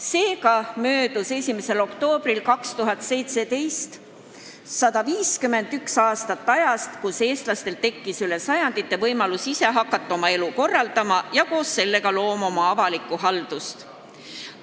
Seega möödus 2017. aasta 1. oktoobril 151 aastat ajast, mil eestlastel tekkis üle paljude sajandite võimalus hakata ise oma elu korraldama ja koos sellega oma avalikku haldust looma.